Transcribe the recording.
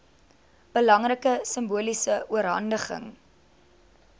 belangrike simboliese oorhandiging